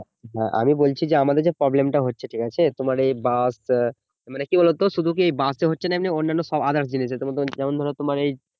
আমি বলছি যে আমাদের problem হচ্ছে ঠিক আছে তোমার ওই বাস আহ মানে কি বলতো শুধু কি বাসে হচ্ছে না এমনি অন্যান্য সব others জিনিসে যেমন ধরো তোমার এই